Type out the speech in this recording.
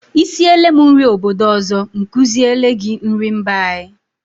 Ị siele m nri obodo ọzọ, m kuziele gị nrị mba anyị.